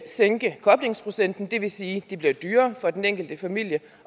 sænke koblingsprocenten det vil sige at det bliver dyrere for den enkelte familie